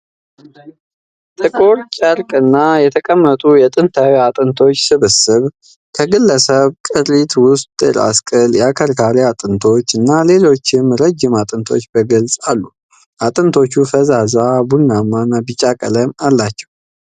ጥቁር ጨርቅ ላይ የተቀመጡ የጥንታዊ አጥንቶች ስብስብ ። ከግለሰቡ ቅሪት ውስጥ የራስ ቅል፣ የአከርካሪ አጥንቶች እና ሌሎች ረጅም አጥንቶች በግልጽ አሉ። አጥንቶቹ ፈዛዛ ቡናማ እና ቢጫ ቀለም አላቸው።